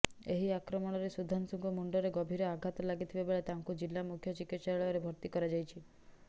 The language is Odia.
ଏହି ଆକ୍ରମଣରେ ସୁଧାଂଶୁଙ୍କ ମୁଣ୍ଡରେ ଗଭୀର ଆଘାତ ଲାଗିଥିବା ବେଳେ ତାଙ୍କୁ ଜିଲ୍ଲା ମୁଖ୍ୟ ଚିକିତ୍ସାଳୟରେ ଭର୍ତ୍ତି କରାଯାଇଛି